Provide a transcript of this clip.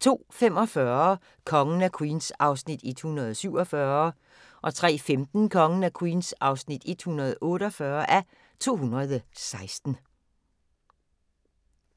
02:45: Kongen af Queens (147:216) 03:15: Kongen af Queens (148:216)